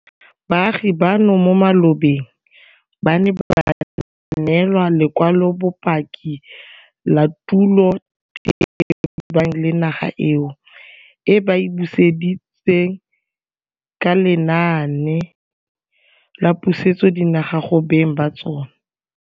Baagi bano mo malobeng ba ne ba neelwa lekwalobopaki la tulo tebang le naga eo, e ba e buseditsweng ka lenaane la pusetsodinaga go beng ba tsona.